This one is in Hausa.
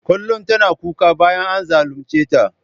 Kullum tana kuka bayan an zalunceta.